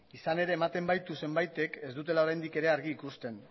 izan ere ematen baitu zenbaitek ez dutela oraindik ere argi ikusten